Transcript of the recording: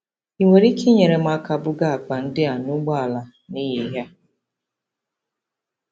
Ị nwere ike inyere m aka buga akpa ndị a n'ụgbọala n'ehihie a?